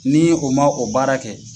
Ni o ma o baara kɛ.